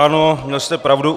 Ano, měl jste pravdu.